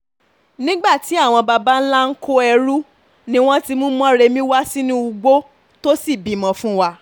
nígbà tí àwọn babańlá ń kó ẹrù ni wọ́n ti mú mórèmi wá sínú ugbó tó sì bímọ fún wa